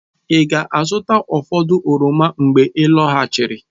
Ị ga-azụta ụfọdụ oroma mgbe ị lọghachiri?